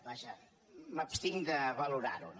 vaja m’abstinc de valorar ho